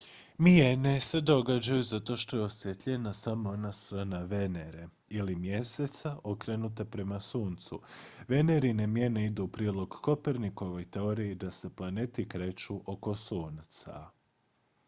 mijene se događaju zato što je osvijetljena samo ona strana venere ili mjeseca okrenuta prema suncu. venerine mijene idu u prilog kopernikovoj teoriji da se planeti kreću oko sunca